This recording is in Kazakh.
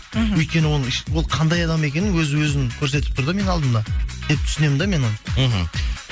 мхм өйткені оның ол қандай адам екенін өз өзін көрсетіп тұр да менің алдымда деп түсінемін да мен оны мхм